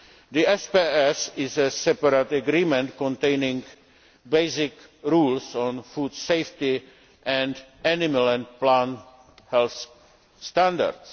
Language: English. The SPS is a separate agreement containing basic rules on food safety and animal and plant health standards.